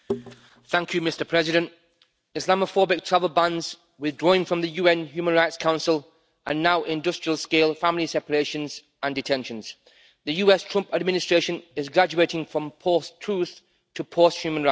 Mr President, Islamophobic travel bans, withdrawing from the UN Human Rights Council and now industrial scale family separations and detentions. The US Trump administration is graduating from post truth to post human rights.